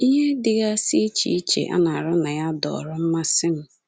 Ihe dịgasị iche iche a na-arụ na ya dọọrọ mmasị m.